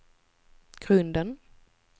grunden